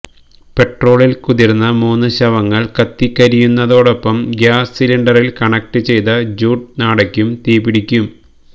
പെട്രോളിൽ കുതിർന്ന മൂന്ന് ശവങ്ങൾ കത്തിക്കരിയുന്നതോടൊപ്പം ഗ്യാസ് സിലിണ്ടറിൽ കണക്റ്റ് ചെയ്ത ജൂട്ട് നാടയ്ക്കും തീപിടിക്കും